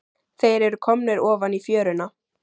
Þeir eru komnir ofan í fjöruna.